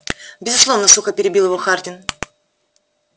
безусловно сухо перебил его хардин